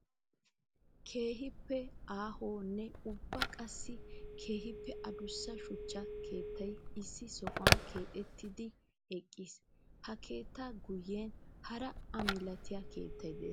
Keehippe aahonne ubba qassikka keehippe adussa shuchcha keettay issi sohuwan keexxettiddi eqqiis. Ha keetta guyen hara a milatiya keettay de'ees.